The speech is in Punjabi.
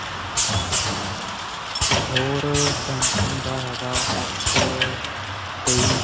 ਹੋਰ samsumg ਦਾ ਹੈਗਾ ਏਫ਼ ਤੇਈ.